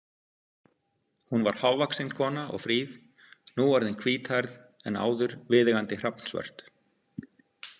Hún var hávaxin kona og fríð, nú orðin hvíthærð en áður viðeigandi hrafnsvört.